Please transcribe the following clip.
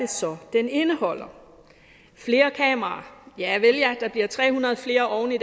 så den indeholder flere kameraer javel der bliver tre hundrede flere oven i